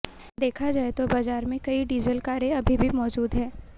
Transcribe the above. देखा जाए तो बाजार में कई डीजल कारें अभी भी मौजूद हैं